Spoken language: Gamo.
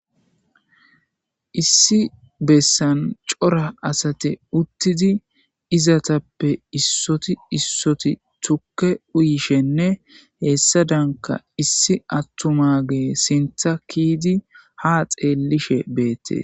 Issi bessan cora asate uttidi izatappe issoti issoti tukke uyishenne heessa danka issi attuma gee sintha kiidi ha xeellishe beette